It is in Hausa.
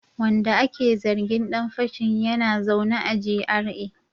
Wanda ake zargin dan fashin yana zaune a GRA